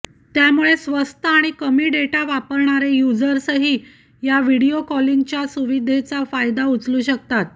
त्यामुळे स्वस्त आणि कमी डेटा वापरणारे युजर्सही या व्हिडीओ कॉलिंग सुविधेचा फायदा उचलू शकतात